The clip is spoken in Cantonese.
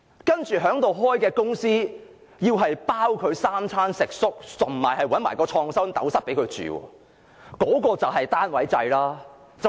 在科學園開設的公司，政府要負責3餐食宿，甚至提供創新斗室給他們居住，那就是單位制。